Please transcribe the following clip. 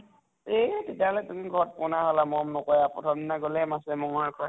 এই তেতিয়াহʼলে তুমি ঘৰত পনা হʼলা মৰম নকৰে আৰু, প্ৰথম দিনা গলেহে মাছে মঙ্ঘয়ে খোৱাই